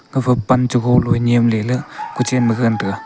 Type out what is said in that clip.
gafa pan che golo eh nyemle la kuchen ma gagan tega.